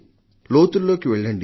లోతుల్లోకి వెళ్లండి